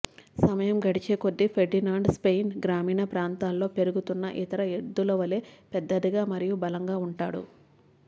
సమయం గడిచేకొద్దీ Ferdinand Spain గ్రామీణ ప్రాంతాల్లో పెరుగుతున్న ఇతర ఎద్దుల వలె పెద్దదిగా మరియు బలంగా ఉంటాడు